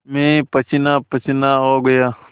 मैं पसीनापसीना हो गया